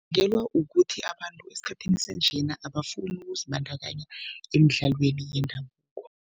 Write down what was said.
ukuthi abantu esikhathini sanjena abafuni ukuzibandakanya emidlalweni yendabuko.